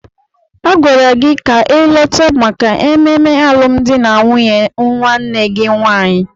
Agwara gị ka ịlọta maka ememe alụmdi na nwunye nwanne gị nwaanyị!